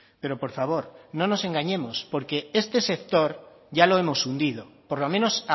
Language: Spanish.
pero por favor no nos engañemos porque este sector ya lo hemos hundido por lo menos